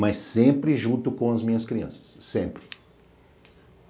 mas sempre junto com as minhas crianças, sempre.